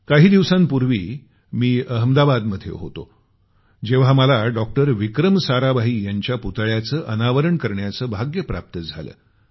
काही दिवसांपूर्वी मी अहमदाबादमध्ये होतो जेव्हा मला डॉक्टर विक्रम साराभाई यांच्या पुतळ्याचं अनावरण करण्याचं भाग्य प्राप्त झालं